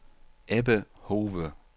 Ebbe Hove